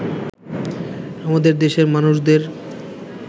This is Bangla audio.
আমাদের দেশের মানুষদের